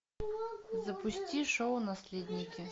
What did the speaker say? запусти шоу наследники